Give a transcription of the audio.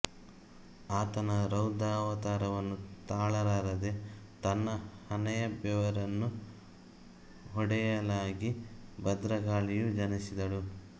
ಆತನ ರೌದ್ರವತಾರವನ್ನು ತಾಳಲಾರದೇ ತನ್ನ ಹಣೆಯ ಬೆವರನ್ನು ಹೊಡೆಯಲಾಗಿ ಭದ್ರಕಾಳಿಯು ಜನಿಸಿದಳು